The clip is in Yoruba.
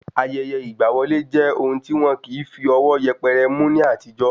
Ayẹyẹ ìgba wọlé jẹ́ ohun tí wọn kìí fí ọwọ́ yẹpẹrẹ mú ní àtijọ́